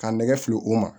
Ka nɛgɛ fili o ma